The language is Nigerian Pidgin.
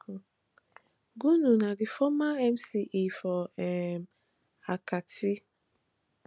gunu na di former mce for um akatsi